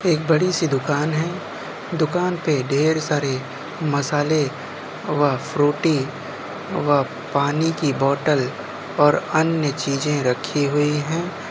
एक बड़ी सी दुकान है दुकान पर ढेर सारे मसाले व फ्रूटी व पानी की बोतल अन्य चीज रखी हुई है।